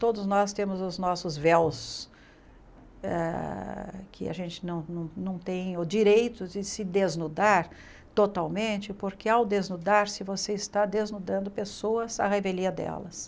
Todos nós temos os nossos véus, eh que a gente não não não tem o direito de se desnudar totalmente, porque ao desnudar-se você está desnudando pessoas, a revelia delas.